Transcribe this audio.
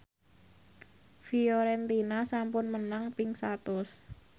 Fiorentina sampun menang ping satus